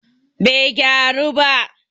bai gyaru ba